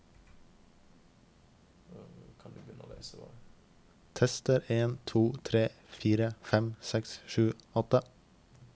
Tester en to tre fire fem seks sju åtte